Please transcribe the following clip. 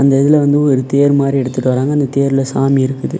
இந்த இதுல வந்து ஒரு தேர் மாரி எடுத்துட்டு வராங்க அந்த தேர்ல சாமி இருக்குது.